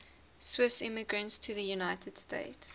swiss immigrants to the united states